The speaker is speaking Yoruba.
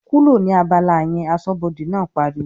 "kúrò ní abala yẹn!", aṣọ́bọdè náà pariwo